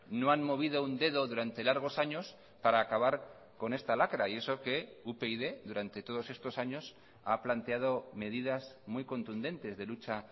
no han movido un dedo durante largos años para acabar con esta lacra y eso que upyd durante todos estos años ha planteado medidas muy contundentes de lucha